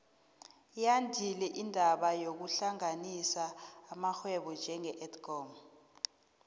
yandile indaba yokuhlanganisa amarhwebo njenge edcon